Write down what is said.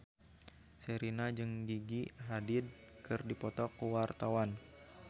Sherina jeung Gigi Hadid keur dipoto ku wartawan